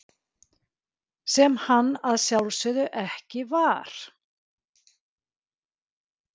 Sem hann að sjálfsögðu ekki var!